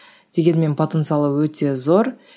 дегенмен потенциалы өте зор